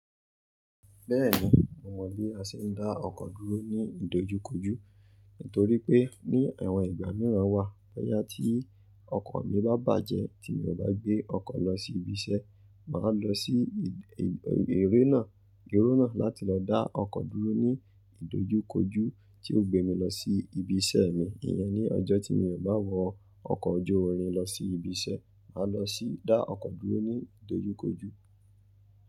Bẹ́ẹ̀ni, mo mọ bí a ṣe ń dá ọkọ̀ dúró ní ìdojúkojú. Nítorí pé ní àwọn ìgbà míràn wà, bóyá tí ọkọ̀ mi bá bàjẹ́, tí mi ò bá gbé ọkọ̀ lọ sí ibi iṣẹ́, màá lọ sí ère náà, irú náà láti lọ dá ọkọ̀ dúró ní ìdojúkojú tí yóò gbé mi lọ sí ibi iṣẹ́ mi. Iyẹn ní ọjọ́ tí mi ò bá wọ ọkọ̀ ojú irin lọ sí ibi iṣẹ́, màá lọ sí dá ọkọ̀ dúró ní ìdojúkojú.